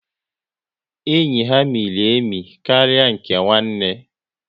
Enyi ha miri emi karịa nke nwanne